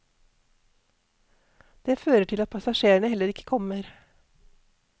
Det fører til at passasjerene heller ikke kommer.